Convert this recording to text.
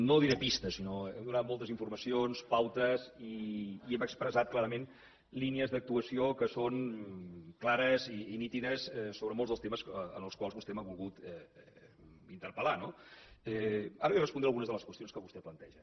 no diré pistes sinó que hem donat moltes informacions pautes i hem expressat clarament línies d’actuació que són clares i nítides sobre molts dels temes sobre els quals vostè m’ha volgut interpel·lar no ara li respondré a algunes de les qüestions que vostè planteja